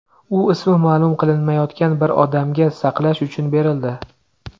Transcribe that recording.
U ismi ma’lum qilinmayotgan bir odamga saqlash uchun berildi.